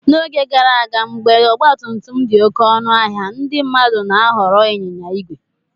n’oge gara aga, mgbe ọgba tum tum dị oké ọnụ ahịa, ndị mmadụ na-ahọrọ ịnyịnya ígwè